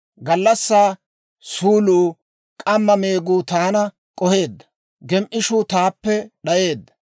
Gallassaa suuluu, k'amma meeguu taana k'oheedda; gem"ishuu taappe d'ayeedda.